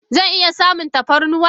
Zan iya samun tafarnuwa?